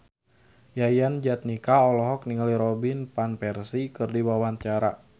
Yayan Jatnika olohok ningali Robin Van Persie keur diwawancara